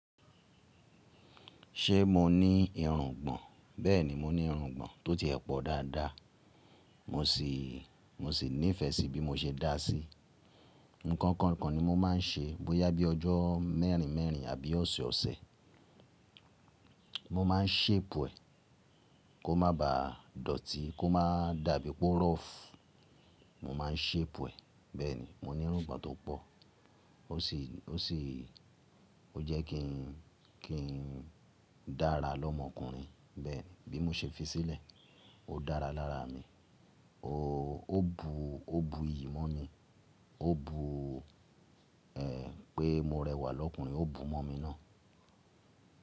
Ṣé mo ní irùngbọ̀n? Bẹ́ẹ̀ni, mo ní irùngbọ̀n tó tie ẹpọ̀ dáadáa, mo sì, mo sì nífẹ̀ẹ́ sí bí mo ṣe dá a sí. Ǹkan kan kan nii mo máa ń ṣe, bó yá bí ọjọ́ mẹ́rin mẹ́rin àbí ọ̀sẹ̀ ọ̀sẹ̀. Mo máa ń shape è kò má ba dọ̀tí, kò má dàbí pó rọ́ọ̀fù. Mo máa ń shape è. Bẹ́ẹ̀ni, mo ní irùngbọ̀n tó pọ̀. Ó sì, ó sì, ó jẹ́ kí n, kí n dára lọ́mọkùnrin. Bẹ́ẹ̀ni, bí mo ṣe fi sílẹ̀, ó dára lára mi. O ó bu, ó bu ìyí mọ́ mi, ó bu ẹ pé mo rẹwà lọ́kùnrin, ó bu mọ́ mi náà.